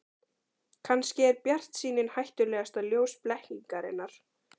Kannski er bjartsýnin hættulegasta ljós blekkingarinnar.